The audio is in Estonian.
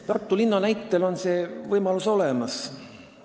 Tartu linna näitel on see võimalus olemas.